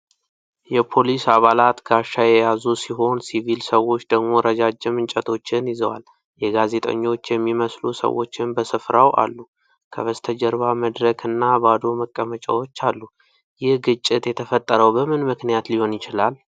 የፖሊስ አባላት ጋሻ የያዙ ሲሆን፣ ሲቪል ሰዎች ደግሞ ረጃጅም እንጨቶችን ይዘዋል። የጋዜጠኞች የሚመስሉ ሰዎችም በስፍራው አሉ። ከበስተጀርባ መድረክ እና ባዶ መቀመጫዎች አሉ። ይህ ግጭት የተፈጠረው በምን ምክንያት ሊሆን ይችላል?